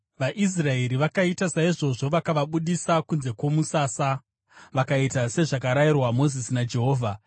VaIsraeri vakaita saizvozvo, vakavabudisa kunze kwomusasa. Vakaita sezvakarayirwa Mozisi naJehovha.